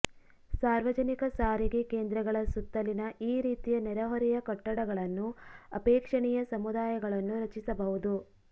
ಸಾರ್ವಜನಿಕ ಸಾರಿಗೆ ಕೇಂದ್ರಗಳ ಸುತ್ತಲಿನ ಈ ರೀತಿಯ ನೆರೆಹೊರೆಯ ಕಟ್ಟಡಗಳನ್ನು ಅಪೇಕ್ಷಣೀಯ ಸಮುದಾಯಗಳನ್ನು ರಚಿಸಬಹುದು